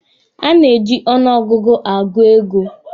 A na-eji ọnụ ọgụgụ agụ ego.